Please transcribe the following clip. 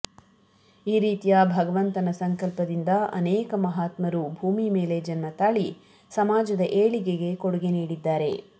ಈ ರೀತಿಯ ಭಗವಂತನ ಸಂಕಲ್ಪದಿಂದ ಅನೇಕ ಮಹಾತ್ಮರು ಭೂಮಿ ಮೇಲೆ ಜನ್ಮತಾಳಿ ಸಮಾಜದ ಏಳಿಗೆಗೆ ಕೊಡುಗೆ ನೀಡಿದ್ದಾರೆ